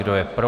Kdo je pro?